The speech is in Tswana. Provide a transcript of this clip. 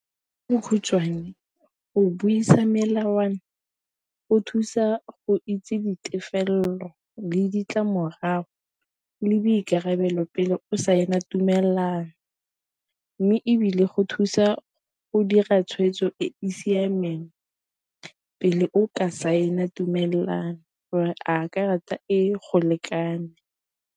go buisa melawana o thusa go itse ditefelelo le ditlamorago le boikarabelo pele o saena tumelelano, mme ebile go thusa go dira tshwetso e e siameng pele o ka saena tumelelano gore a karata e e go lekane.